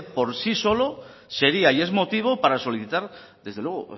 por sí solo sería y es motivo para solicitar